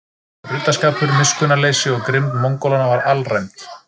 Ruddaskapur, miskunnarleysi og grimmd Mongólanna var alræmd.